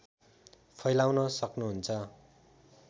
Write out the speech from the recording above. फैलाउन सक्नुहुन्छ